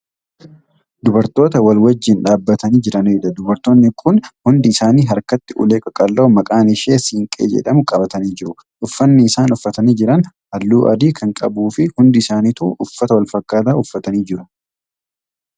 Dubartoota wal wajjiin dhaabatanii Jiraniidha. dubartoonni Kun hundi isaanii harkatti ulee qaqal'oo maqaan ishee siinqee jedhamu qabatanii jiru. uffaanni isaan uffatanii Jiran halluu adii Kan qabuufi Hundi isaaaniitu uffata walfakkaataa uffatanii jiru.